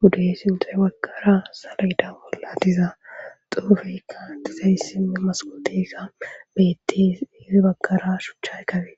budey sintis baggara salaida bollatiza xuufekka tizayssimme masqutika beetti hifi baggara shuchchay kabe